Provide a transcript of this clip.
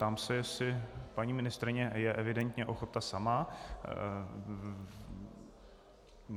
Ptám se, jestli - paní ministryně je evidentně ochota sama.